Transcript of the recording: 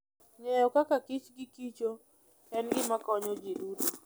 Ng'eyo kaka kich gikichok en gima konyo ji duto.